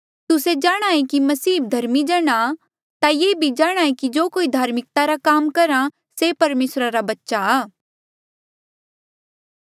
तुस्से जाणहां ऐें कि मसीही धर्मी जण आ ता ये भी जाणांहे कि जो कोई धार्मिकता रा काम करहा से परमेसरा रा बच्चा आ